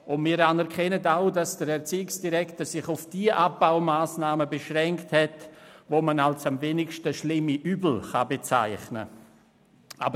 Wir anerkennen auch, dass der Erziehungsdirektor sich auf jene Massnahmen beschränkt hat, die man als die kleinsten Übel bezeichnen kann.